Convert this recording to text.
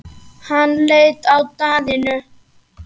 Hann leit á Daðínu.